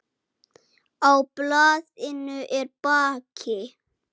Á blaðinu er bakki.